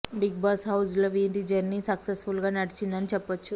big Boss house లో వీరి journey successful గా నడిచింది అని చెప్పొచ్చు